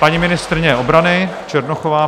Paní ministryně obrany Černochová.